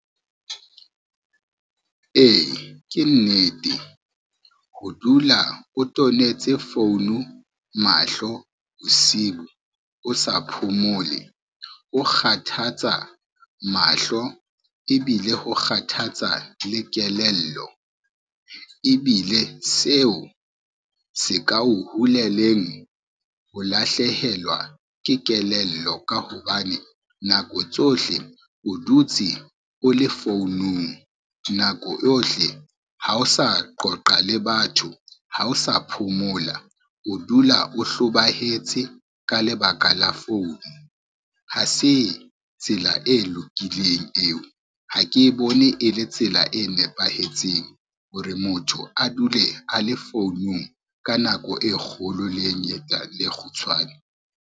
E, ke nnete, ho dula o tonetse founu mahlo bosiu, o sa phomole, o kgathatsa mahlo ebile ho kgathatsa le kelello. Ebile seo se ka o huleleng ho lahlehelwa ke kelello ka hobane nako tsohle o dutse o le founung, nako yohle ha o sa qoqa le batho ha o sa phomola, o dula o hlobahetse ka lebaka la founu. Ha se tsela e lokileng eo, ha ke bone e le tsela e nepahetseng hore motho a dule a le founung ka nako e kgolo, le e kgutshwane.